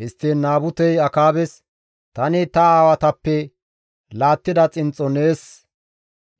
Histtiin Naabutey Akaabes, «Tani ta aawatappe laattida xinxxo nees